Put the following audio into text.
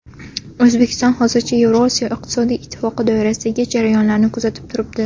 O‘zbekiston hozircha Yevrosiyo iqtisodiy ittifoqi doirasidagi jarayonlarni kuzatib turibdi.